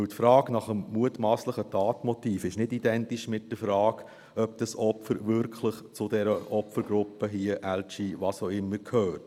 Denn die Frage nach dem mutmasslichen Tatmotiv ist nicht identisch mit der Frage, ob das Opfer wirklich zur dieser Opfergruppe, LG…, was auch immer, gehört.